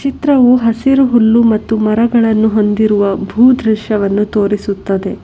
ಚಿತ್ರವು ಹಸಿರು ಹುಲ್ಲು ಮತ್ತು ಮರಗಳನ್ನು ಹೊಂದಿರುವ ಭೂ ದೃಶ್ಯವನ್ನು ತೋರಿಸುತ್ತದೆ.